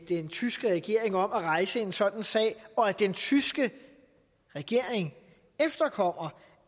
den tyske regering om at rejse en sådan sag og at den tyske regering efterkommer